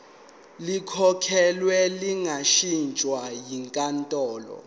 likhokhelwe lingashintshwa yinkantolo